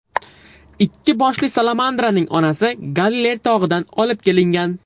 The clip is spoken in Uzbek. Ikki boshli salamandraning onasi Galiley tog‘idan olib kelingan.